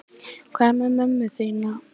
Hvað með mömmu þína?